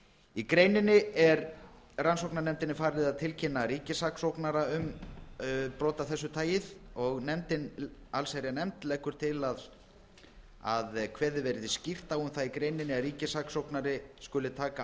í greininni er rannsóknarnefndinni falið að tilkynna ríkissaksóknara brot af þessu tagi og allsherjarnefnd leggur til að kveðið verði skýrt á um það í greininni að ríkissaksóknari skuli að taka